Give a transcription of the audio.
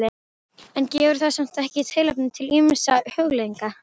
En gefur það samt ekki tilefni til ýmissa hugleiðinga?